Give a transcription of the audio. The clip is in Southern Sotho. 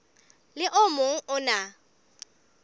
le o mong o na